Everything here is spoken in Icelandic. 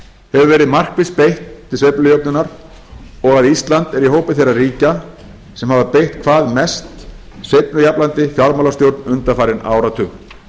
hefur verið markvisst beitt til sveiflujöfnunar og að ísland er í hópi þeirra ríkja sem hafa beitt hvað mest sveiflujafnandi fjármálastjórn undanfarin áratug